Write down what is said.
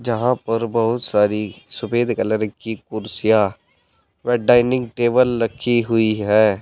जहां पर बहुत सारी सुफेद कलर की कुर्सियां व डाइनिंग टेबल लगी हुई है।